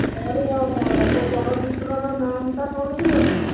ଓଃ ହୋ ସେ ଚଳଚିତ୍ର ର ନାମ୍ ଟା କଣ ଥିଲା କି?